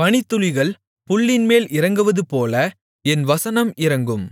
பனித்துளிகள் புல்லின்மேல் இறங்குவதுபோல என் வசனம் இறங்கும்